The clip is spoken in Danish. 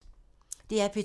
DR P2